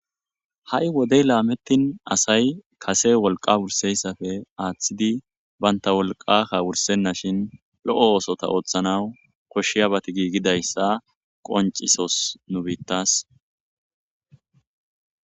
Ha'i wodey lametini asay kase wolqa wusizaysafe athidi banta wolqakka wursenashin lo'o osota othanaw koshiyabata gigidaysa qonciso nu bitas